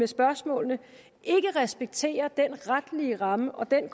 spørgsmålene ikke respekterer den retlige ramme og den